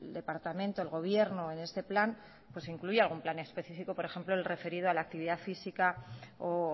departamento el gobierno en este plan pues incluía algún plan específico por ejemplo el referido a la actividad física o